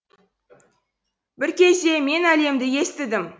бір кезде мен әлемді естідім